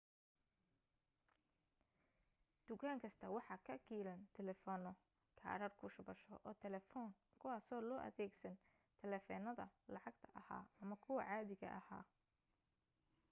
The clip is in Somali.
dukaan kasta waxa ka kiilan taleefano kaadhadh ku shubasho oo talefoon kuwaaso loo adeegsan taleefanada lacagta aha ama kuwa caadiga ah